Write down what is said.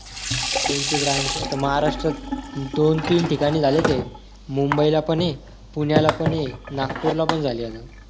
त्यांची branch आता महाराष्ट्रात दोन-तीन ठिकाणी झाले ते मुंबईला पण आहे पुण्याला पण आहे नागपूरला पण झाली आहे